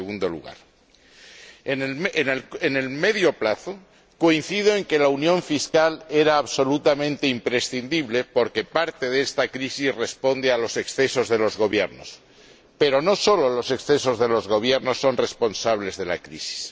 En el medio plazo, coincido en que la unión fiscal era absolutamente imprescindible porque parte de esta crisis responde a los excesos de los Gobiernos, pero no solo los excesos de los Gobiernos son responsables de la crisis.